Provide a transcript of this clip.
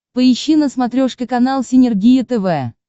поищи на смотрешке канал синергия тв